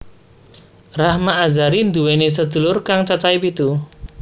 Rahma Azhari nduwèni sedulur kang cacahé pitu